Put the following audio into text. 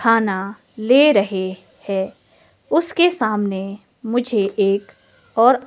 खाना ले रहे है उसके सामने मुझे एक और--